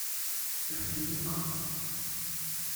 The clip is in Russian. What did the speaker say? парфенюк